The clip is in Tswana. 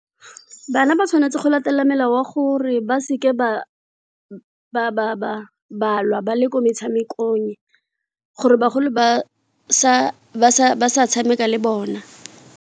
Bana ba tshwanetse go latela melao gore ba seke ba lwa ba le ko metshamekong gore bagolo ba sa tshameka le bona.